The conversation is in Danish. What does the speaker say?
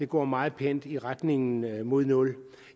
går meget pænt i retning mod nul